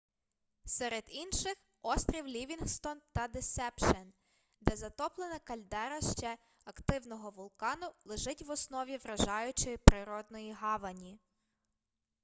серед інших острів лівінгстон та десепшен де затоплена кальдера ще активного вулкану лежить в основі вражаючої природної гавані